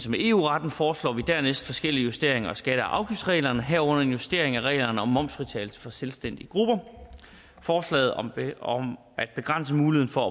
med eu retten foreslår vi dernæst forskellige justeringer af skatte og afgiftsreglerne herunder en justering af reglerne om momsfritagelse for selvstændige grupper forslaget om om at begrænse muligheden for at